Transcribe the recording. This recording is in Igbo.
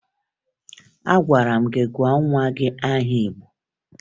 Agwara m gị gụọ nwa gị aha Igbo!